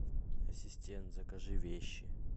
ассистент закажи вещи